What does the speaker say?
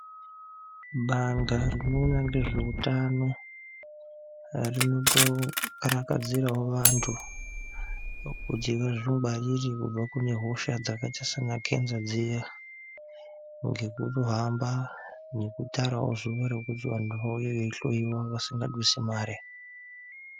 Bandla rinoona ngezveutano rinotokarakadzirawo vantu kuti vazvingwarire kubva kune hosha dzakaita saana khenza dziya ngekuhamba nekutarawo zuwa rekuti vantu vauye veihloyiwa vasingadusi mare.